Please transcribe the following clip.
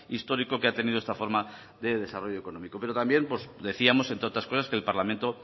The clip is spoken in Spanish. histórico que ha tenido esta forma de desarrollo económico pero también decíamos entre otras cosas que el parlamento